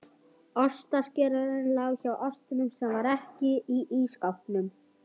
Ostaskerinn lá hjá ostinum sem var ekki í ísskápnum.